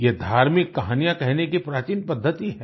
ये धार्मिक कहानियाँ कहने की प्राचीन पद्धति है